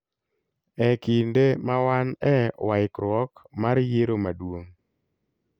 E kinde ma wan e waikruok mar yiero maduong',